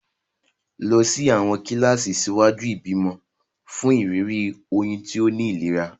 Lọ sí àwọn kíláàsì ṣíwájú ìbímọ fún ìrírí oyún tó ní ìlera.